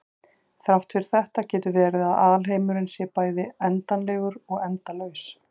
þrátt fyrir þetta getur verið að alheimurinn sé bæði endanlegur og endalaus